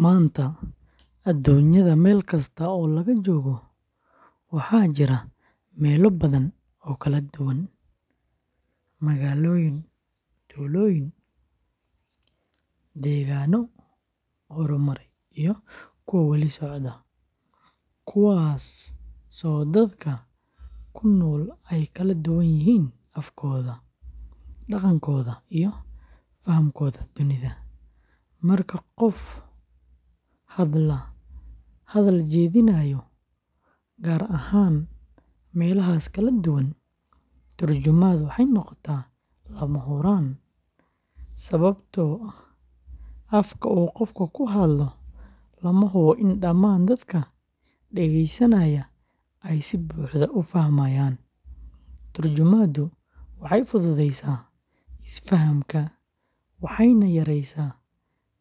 Maanta, aduunyada meel kasta oo laga joogo, waxaa jira meelo badan oo kala duwan—magaalooyin, tuulooyin, deegaanno horumaray iyo kuwa weli socda—kuwaasoo dadka ku nool ay kala duwan yihiin afkooda, dhaqankooda, iyo fahamkooda dunida. Marka qof hadal jeedinayo, gaar ahaan meelahaas kala duwan, tarjumaaddu waxay noqotaa lama huraan sababtoo ah afka uu qofku ku hadlo lama hubo in dhammaan dadka dhageysanaya ay si buuxda u fahmayaan. Tarjumaaddu waxay fududeysaa isfahamka, waxayna yareysaa